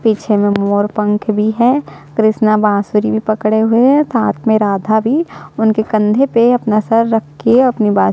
पीछे में मोर पंख भी है कृष्णा बाँसुरी भी पकडे हुए है साथ में राधा भी उनके कंधे पे अपना सर रख के अपनी बा --